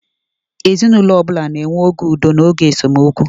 Ezinaụlọ ọ bụla na-enwe oge udo na oge ndọkọrita (esemokwu).